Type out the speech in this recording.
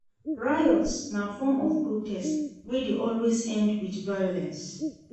Riots na form of protest wey de always end with violence